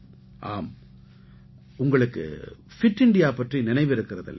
ஆம் உங்களுக்கு fit India பற்றி நினைவிருக்கிறது இல்லையா